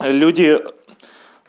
люди